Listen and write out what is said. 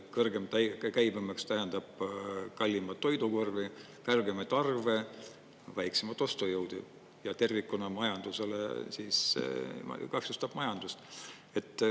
Kõrgem käibemaks tähendab kallimat toidukorvi, kõrgemaid arve, väiksemat ostujõudu ja tervikuna majandusele, kahjustab majandust.